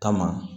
Kama